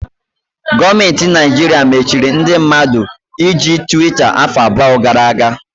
Gọọmenti Naịjirịa machiri ndị mmadụ iji Twita afọ abụọ gara aga.